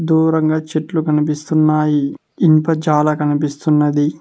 దూరంగా చెట్లు కనిపిస్తున్నాయి ఇన్ఫ చాలా కనిపిస్తున్నది.